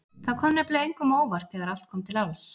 Það kom nefnilega engum á óvart þegar allt kom til alls.